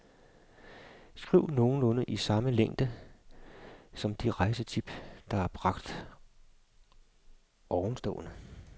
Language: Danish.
Skriv nogenlunde i samme længde som de rejsetip, der er bragt ovenstående.